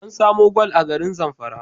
An samo gwal a garin Zamfara